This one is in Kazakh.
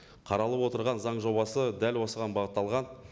қаралып отырған заң жобасы дәл осыған бағытталған